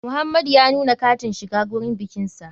Muhamadu ya nuna katin shiga gurin bikinsa.